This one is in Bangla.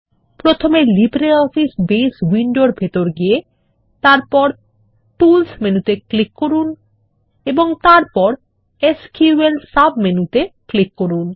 প্রথমে লিব্রিঅফিস বেজ উইন্ডোর ভিতরে গিয়ে প্রথমে টুলস মেনুতে ক্লিক করুন এবং তারপর এসকিউএল সাব মেনুতে ক্লিক করুন